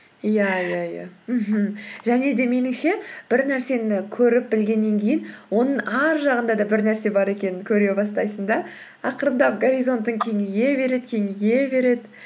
иә иә иә мхм және де меніңше бір нәрсені көріп білгеннен кейін оның арғы жағында да бір нәрсе бар екенін көре бастайсың да ақырындап горизонтың кеңейе береді кеңейе береді